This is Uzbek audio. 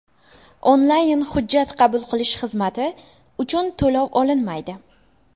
Onlayn hujjat qabul qilish xizmati uchun to‘lov olinmaydi.